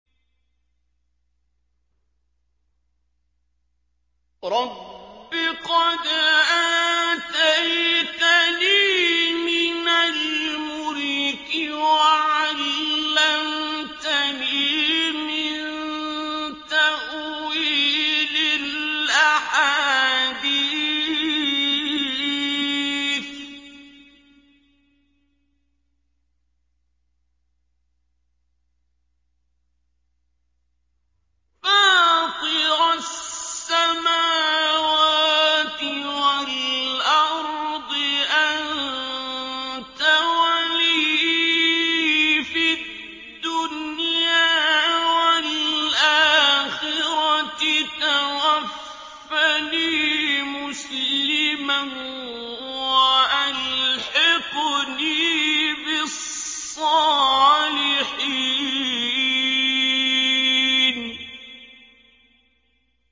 ۞ رَبِّ قَدْ آتَيْتَنِي مِنَ الْمُلْكِ وَعَلَّمْتَنِي مِن تَأْوِيلِ الْأَحَادِيثِ ۚ فَاطِرَ السَّمَاوَاتِ وَالْأَرْضِ أَنتَ وَلِيِّي فِي الدُّنْيَا وَالْآخِرَةِ ۖ تَوَفَّنِي مُسْلِمًا وَأَلْحِقْنِي بِالصَّالِحِينَ